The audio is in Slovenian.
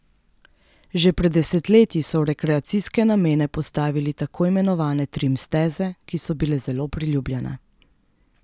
Že pred desetletji so v rekreacijske namene postavili tako imenovane trim steze, ki so bile zelo priljubljene.